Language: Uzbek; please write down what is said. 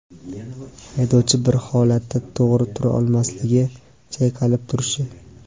haydovchi bir holatda to‘g‘ri tura olmasligi (chayqalib turishi);.